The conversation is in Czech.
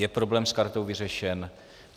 Je problém s kartou vyřešen?